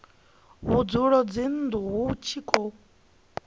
vhudzulo dzinnu hu tshi khou